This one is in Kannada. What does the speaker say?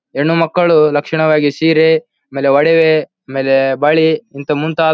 ಹೆಣ್ಣು ಮಕ್ಕಳು ಲಕ್ಷಣವಾಗಿ ಸೀರೆ ಆಮೇಲೆ ಒಡವೆ ಆಮೇಲೆ ಬಳಿ ಇಂತ ಮುಂತಾದ--